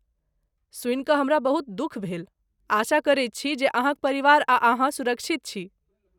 सुनि कऽ हमरा बहुत दुःख भेल, आशा करैत छी जे अहाँक परिवार आ अहाँ सुरक्षित छी।